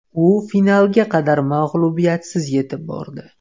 U finalga qadar mag‘lubiyatsiz yetib bordi.